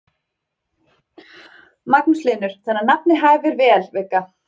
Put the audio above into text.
Magnús Hlynur: Þannig að nafnið hæfir vel, Vigga?